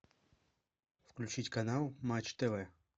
включить канал матч тв